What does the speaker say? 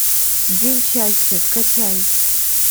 день счастья скачай